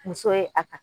Muso ye a ta